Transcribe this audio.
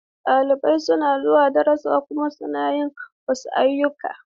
Ɗalibai suna zuwa darussa kuma suna yin wasu ayyuka.